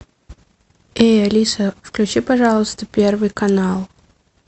эй алиса включи пожалуйста первый канал